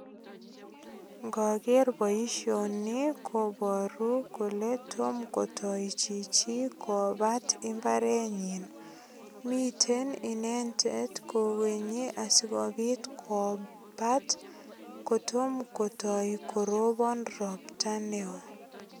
Ngoger boisioni koboru kole tom koto chichi kobat imbarenyin. Miten inendet kowenye asigopit kobat kotom kotoi korobon ropta neo.